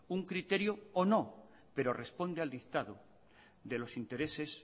un criterio o no pero responde al dictado de los intereses